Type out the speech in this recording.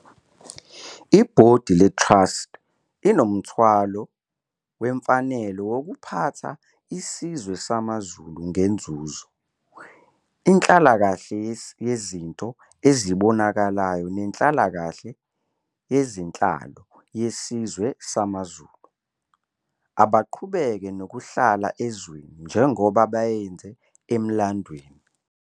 I-Bhodi le Trust inomthwalo wemfanelo wokuphatha iSizwe samaZulu ngenzuzo, inhlalakahle yezinto ezibonakalayo nenhlalakahle yezenhlalo yesizwe samaZulu, abaqhubeka nokuhlala ezweni njengoba beyenze emlandweni.